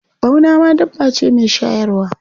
Ɓauna ma dabba ce mai shayarwa.